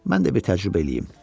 Mən də bir təcrübə eləyim.